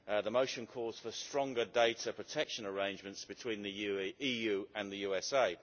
The motion calls for stronger data protection arrangements between the EU and the USA.